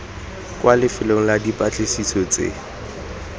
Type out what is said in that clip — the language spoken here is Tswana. kwa lefelong la dipatlisiso tse